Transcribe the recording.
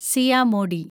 Siya Modi